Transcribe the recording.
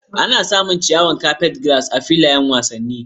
Ana samun ciyawar carpetgrass a filayen wasanni.